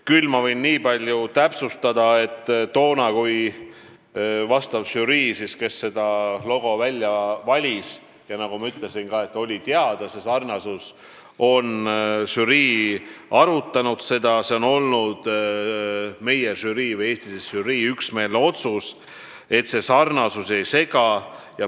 Võin aga nii palju täpsustada, et kui žürii selle logo välja valis ja arutas ka seda sarnasust, siis oli üksmeelne otsus, et sarnasus ei sega.